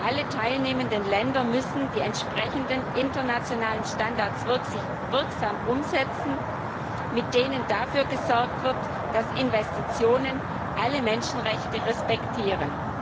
Alle teilnehmenden Länder müssen die entsprechenden internationalen Standards wirklich wirksam umsetzen, mit denen dafür gesorgt wird, dass Investitionen alle Menschenrechte respektieren.